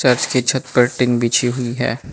Church की छत पर टीन बिछी हुई है।